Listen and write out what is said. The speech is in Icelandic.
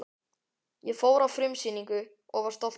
Ég fór á frumsýningu og var stoltur.